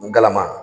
N galama